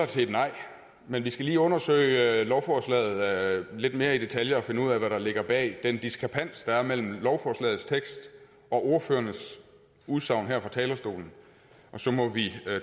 til et nej men vi skal lige undersøge lovforslaget lidt mere i detaljer og finde ud af hvad der ligger bag den diskrepans der er mellem lovforslagets tekst og ordførernes udsagn her fra talerstolen og så må vi